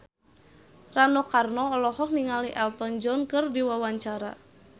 Rano Karno olohok ningali Elton John keur diwawancara